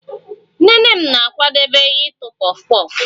Nnene m na-akwadebe ụtọ puff puff